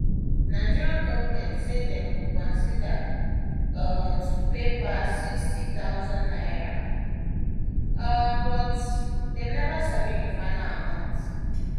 nigeria goment say dem go consider um to pay pass 60000 naira um but dem neva sabi di final amount